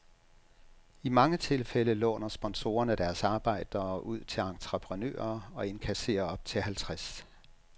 I mange tilfælde låner sponsorerne deres arbejdere ud til entreprenører og inkasserer op til halvtreds